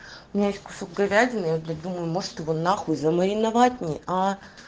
у меня есть кусок говядины я блять думаю может его на хуй замариновать мне а